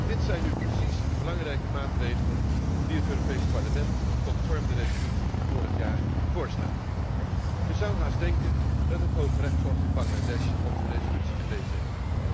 Dit zijn nu precies de belangrijke maatregelen die het Europees Parlement conform de resolutie van vorig jaar voorstaat. Je zou haast denken dat het Hooggerechtshof in Bangladesh onze resolutie gelezen heeft.